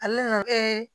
Ale nana